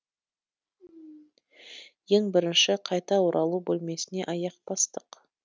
ең бірінші қайта оралу бөлмесіне аяқ бастық